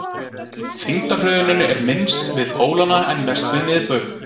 þyngdarhröðunin er minnst við pólana en mest við miðbaug